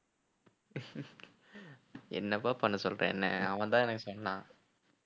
என்னப்பா பண்ண சொல்ற என்னை அவன்தான் எனக்கு சொன்னான்